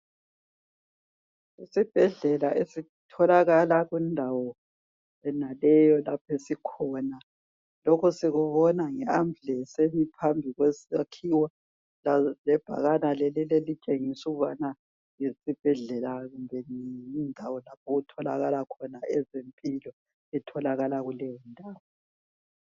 Isibhedlela esitholakala kundawo yenaleyo lapho esikhona. Lokhu sikubona ngeAmbulance emi phambi kwesakhiwo lebhakani leneli elitshengisa ukubana yisibhedlela kumbe yindawo lapho okutholakala khona ezempilo etholakala kuleyondawo.